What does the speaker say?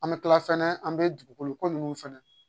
An bɛ kila fɛnɛ an bɛ dugukolo ko nunnu fɛnɛ